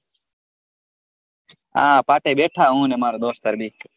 આ પાટે બેઠા હુ ને મારો દોસ્તાર બેય.